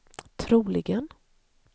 troligen